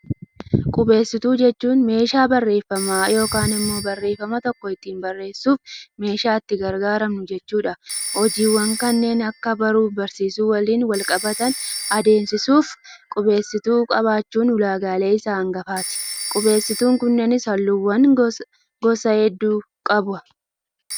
Qubeessituu jechuun, meeshaa barreeffamaa yookaan immoo barreeffama tokko ittiin barreessuuf meeshaa itti gargaaramnu jechuudha. Hojiiwwan kanneen akka baruu fi barsiisuu waliin wal qabatan adeemsisuuf qubeessituu qabaachuun ulaagaalee isa hangafaati. Qubeessituun kunneenis halluuwwan gosa hedduu qaba.